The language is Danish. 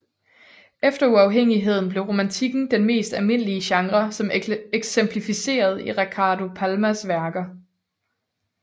Efter uafhængigheden blev romantikken den mest almindelige genre som eksemplificeret i Ricardo Palmas værker